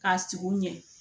K'a sigi u ɲɛ